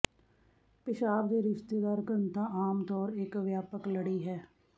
ਪਿਸ਼ਾਬ ਦੇ ਰਿਸ਼ਤੇਦਾਰ ਘਣਤਾ ਆਮ ਤੌਰ ਇੱਕ ਵਿਆਪਕ ਲੜੀ ਹੈ